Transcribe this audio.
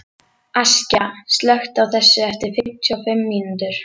Askja, slökktu á þessu eftir fimmtíu og fimm mínútur.